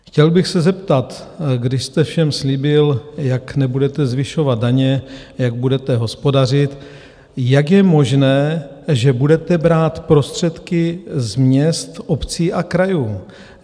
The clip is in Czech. Chtěl bych se zeptat, když jste všem slíbil, jak nebudete zvyšovat daně, jak budete hospodařit, jak je možné, že budete brát prostředky z měst, obcí a krajů?